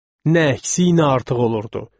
Nə əksi nə artıq olurdu.